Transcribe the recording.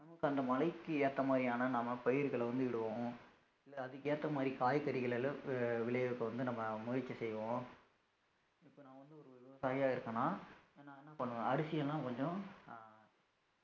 நமக்கு அந்த மழைக்கு ஏத்த மாதிரியான நம்ம பயிர்களை வந்து இடுவோம் இல்ல அதுக்கு ஏத்த மாதிரி காய்கறிகளை விளைவிக்க வந்து நம்ம முயற்சி செய்வோம் இப்ப நான் வந்து ஒரு விவசாயியா இருக்கன்னா இப்ப நான் என்ன பண்ணுவேன் அரிசியெல்லாம் கொஞ்சம் அஹ்